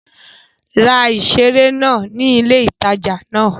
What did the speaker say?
Ra ìseré náà ní ilé ìtajà náà